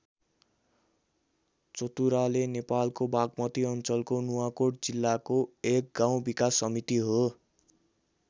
चतुराले नेपालको बागमती अञ्चलको नुवाकोट जिल्लाको एक गाउँ विकास समिति हो।